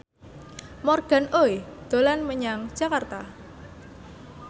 Morgan Oey dolan menyang Jakarta